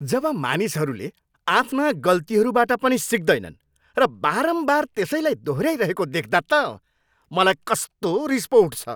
जब मानिसहरूले आफ्ना गल्तीहरूबाट पनि सिक्दैनन् र बारम्बार त्यसैलाई दोहोऱ्याइरहेको देख्दा त मलाई कस्तो रिस पो उठ्छ।